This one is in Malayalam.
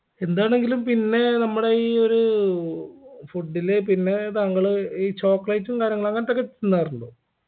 എന്താണെങ്കിലും പിന്നെ നമ്മളെ ഈ ഒരു food ല് പിന്നെ താങ്കള് ഈ chocolate ഉം കാര്യങ്ങളും അങ്ങനത്തൊക്കെ തിന്നാറുണ്ടോ